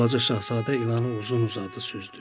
Balaca Şahzadə ilanı uzun-uzadı süzdü.